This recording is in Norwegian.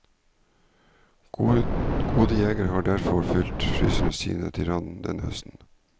Gode jegere har derfor fylt fryserne sine til randen denne høsten.